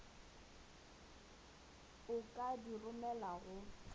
a ka di romelago go